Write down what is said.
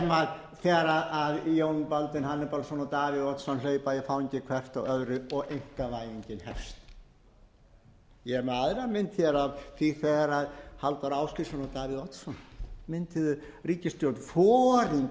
af viðeyjarstjórninni þegar jón baldvin hannibalsson og davíð oddsson hlaupa í fangið hvor á öðrum og einkavæðingin hefst ég er með aðra mynd hér af því þegar halldór ásgrímsson og davíð oddsson mynduðu ríkisstjórn foringjarnir viljum við